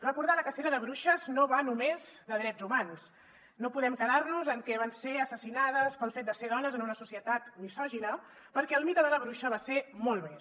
recordar la cacera de bruixes no va només de drets humans no podem quedar nos en que van ser assassinades pel fet de ser dones en una societat misògina perquè el mite de la bruixa va ser molt més